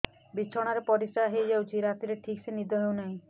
ବିଛଣା ରେ ପରିଶ୍ରା ହେଇ ଯାଉଛି ରାତିରେ ଠିକ ସେ ନିଦ ହେଉନାହିଁ